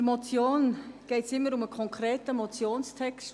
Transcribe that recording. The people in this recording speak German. Eine Motion enthält immer einen konkreten Motionstext.